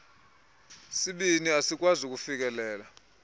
sibini asikwazi kufikelela